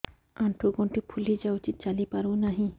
ଆଂଠୁ ଗଂଠି ଫୁଲି ଯାଉଛି ଚାଲି ପାରୁ ନାହିଁ